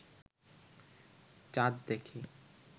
চাঁদ দেখে